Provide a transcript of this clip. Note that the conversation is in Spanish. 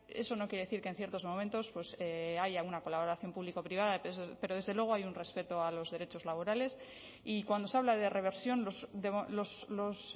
eso no quiere decir que en ciertos momentos haya una colaboración público privada pero desde luego hay un respeto a los derechos laborales y cuando se habla de reversión los